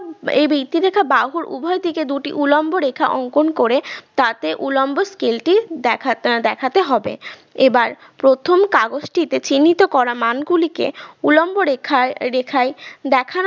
এই ভিত্তি রেখা বাহুর উভয়দিকে দুটি উলম্ব রেখা অঙ্কন করে তাতে উলম্ব scale টি দেখা আহ দেখাতে হবে এবার প্রথম কাগজটিতে চিহ্নিত করা মানগুলিকে উলম্ব রেখায় রেখায় দেখানো